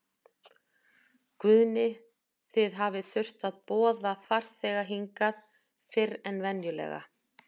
Guðni, þið hafið þurft að boða farþega hingað fyrr en venjulega?